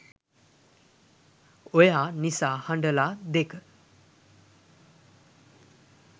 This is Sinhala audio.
oya nisa hadala 2